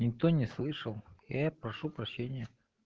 никто не слышал я прошу прощения